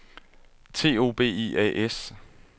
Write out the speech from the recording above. T O B I A S